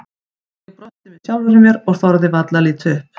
Ég brosti með sjálfri mér og þorði varla að líta upp.